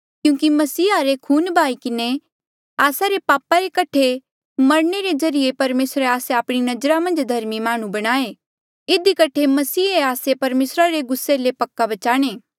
क्यूंकि मसीहे रे खून बहाई किन्हें आस्सा रे पाप रे कठे मरणे रे ज्रीए परमेसरे आस्से आपणी नजरा मन्झ धर्मी माह्णुं बणाए इधी कठे मसीहा आस्से परमेसरा रे गुस्से ले पक्का बचाणे